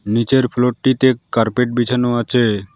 নীচের ফ্লোরটিতে কার্পেট বিছানো আছে।